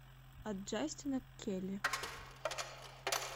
от джастина к келли